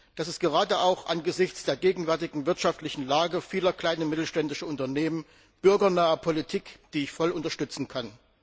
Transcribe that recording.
Das ist gerade auch angesichts der gegenwärtigen wirtschaftlichen Lage vieler kleiner und mittelständischer Unternehmen bürgernahe Politik, die ich voll und ganz unterstützen kann.